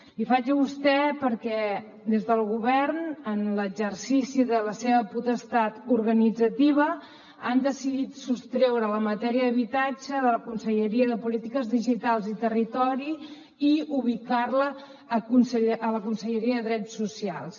li faig a vostè perquè des del govern en l’exercici de la seva potestat organitzativa han decidit sostreure la matèria d’habitatge de la conselleria de polítiques digitals i territori i ubicar la a la conselleria de drets socials